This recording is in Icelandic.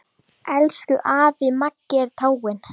Elsku afi Maggi er dáinn.